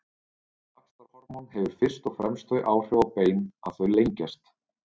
vaxtarhormón hefur fyrst og fremst þau áhrif á bein að þau lengjast